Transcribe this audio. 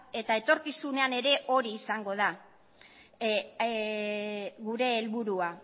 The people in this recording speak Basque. eta etorkizunean ere hori izango da gure helburua